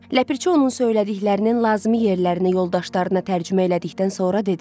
Ləpirçi onun söylədiklərinin lazımi yerlərini yoldaşlarına tərcümə elədikdən sonra dedi.